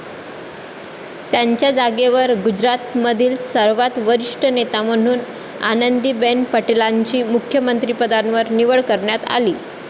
त्यांच्या जागेवर गुजरातमधील सर्वात वरिष्ठ नेत्या म्हणून आनंदीबेन पटेलांची मुख्यमंत्रीपदावर निवड करण्यात आली.